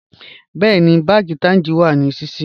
Bẹ̀ẹni, bánkì Taj wa ní síṣí